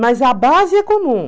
Mas a base é comum.